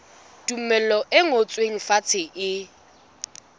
tumello e ngotsweng fatshe e